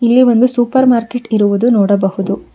ಇಲ್ಲಿ ಒಂದು supermarket ಇರುವುದು ನೋಡಬಹುದು.